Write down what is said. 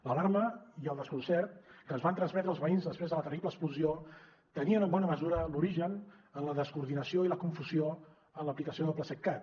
l’alarma i el desconcert que ens van transmetre els veïns després de la terrible explosió tenien en bona mesura l’origen en la descoordinació i la confusió en l’aplicació del plaseqcat